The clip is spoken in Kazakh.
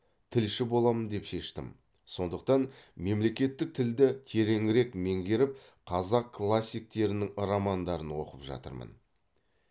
тілші боламын деп шештім сондықтан мемлекеттік тілді тереңірек меңгеріп қазақ классиктерінің романдарын оқып жатырмын